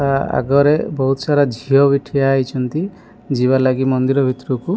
ତା ଆଗରେ ବହୁସାରା ଝିଅ ବି ଠିଆ ହଇଛନ୍ତି ଯିବା ଲାଗି ମନ୍ଦିର ଭିତରକୁ।